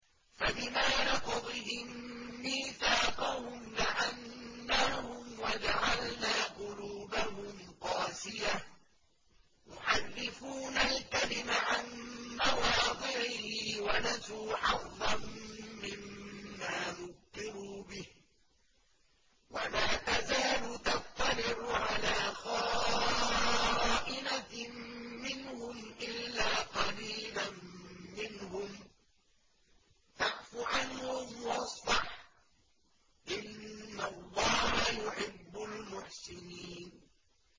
فَبِمَا نَقْضِهِم مِّيثَاقَهُمْ لَعَنَّاهُمْ وَجَعَلْنَا قُلُوبَهُمْ قَاسِيَةً ۖ يُحَرِّفُونَ الْكَلِمَ عَن مَّوَاضِعِهِ ۙ وَنَسُوا حَظًّا مِّمَّا ذُكِّرُوا بِهِ ۚ وَلَا تَزَالُ تَطَّلِعُ عَلَىٰ خَائِنَةٍ مِّنْهُمْ إِلَّا قَلِيلًا مِّنْهُمْ ۖ فَاعْفُ عَنْهُمْ وَاصْفَحْ ۚ إِنَّ اللَّهَ يُحِبُّ الْمُحْسِنِينَ